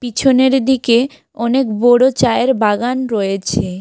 পিছনের দিকে অনেক বড় চায়ের বাগান রয়েছে।